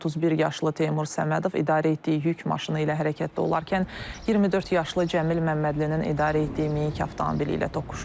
31 yaşlı Teymur Səmədov idarə etdiyi yük maşını ilə hərəkətdə olarkən 24 yaşlı Cəmil Məmmədlinin idarə etdiyi minik avtomobili ilə toqquşub.